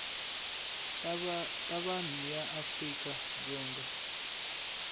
ta vanhu ya afrika dzonga